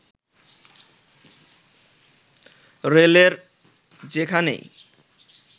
রেলের যেখানেই